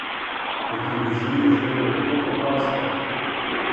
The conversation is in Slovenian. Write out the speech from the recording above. Na televiziji je izgledalo tako preprosto!